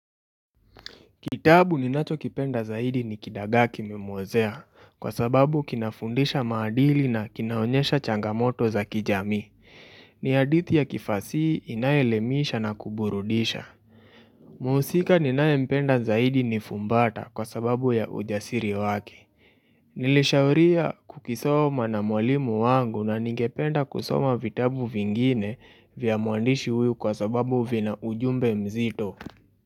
Kitabu ni nacho kipenda zaidi ni kidagaki mmozea kwa sababu kinafundisha maadili na kinaonyesha changamoto za kijamii. Ni hadithi ya kifasihi inaelemisha na kuburudisha. Muhusika ninaye mpenda zaidi ni fumbata kwa sababu ya ujasiri wake. Nilishauria kukisoma na mwalimu wangu na nigependa kusoma vitabu vingine vya muandishi uyu kwa sababu vina ujumbe mzito.